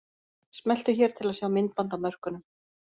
Smelltu hér til að sjá myndband af mörkunum